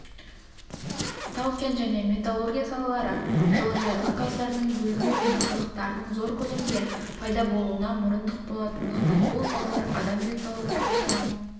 тау-кен және металлургия салалары жылыжайлық газдардың бөлінуі мен қалдықтардың зор көлемде пайда болуына мұрындық болатындықтан бұл салалар адам денсаулығы тұрғысынан